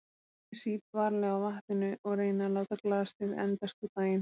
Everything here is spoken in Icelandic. Ég sýp varlega á vatninu og reyni að láta glasið endast út daginn.